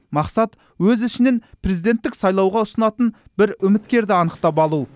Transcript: мақсат өз ішінен президенттік сайлауға ұсынатын бір үміткерді анықтап алу